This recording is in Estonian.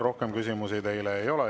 Rohkem küsimusi teile ei ole.